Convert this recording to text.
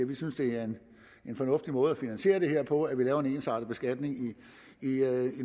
vi synes det er en fornuftig måde at finansiere det her på altså at vi laver en ensartet beskatning i